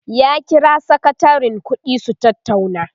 ya kira sakatarin ƙuɗi su tattauna